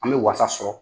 An bɛ wasa sɔrɔ